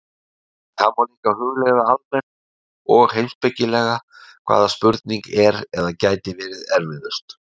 En það má líka hugleiða almennt og heimspekilega, hvaða spurning er eða gæti verið erfiðust.